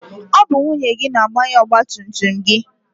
Ọ bụ nwunye gị na-agbanye ọgbatumtum gị.